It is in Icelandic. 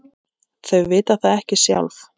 Þau vita það ekki sjálf.